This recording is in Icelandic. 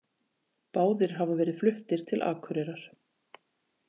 Báðir hafa verið fluttir til Akureyrar